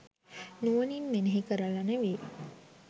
නුවණින් මෙනෙහි කරලා නෙවෙයි.